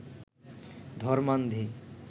ধর্মান্ধি